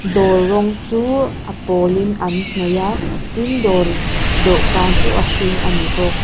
dawr rawng chu a pawlin an hnawih a tin dawr dawhkan chu a hring a ni bawk.